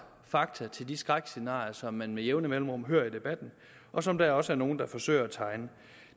fakta til de skrækscenarier som man med jævne mellemrum hører i debatten og som der også er nogen der forsøger at tegne